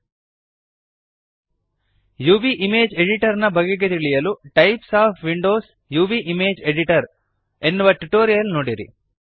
UV image editor ನ ಬಗೆಗೆ ತಿಳಿಯಲು types of windows UV image editor types of windows UV image editor ಎನ್ನುವ ಟ್ಯುಟೋರಿಯಲ್ ನೋಡಿರಿ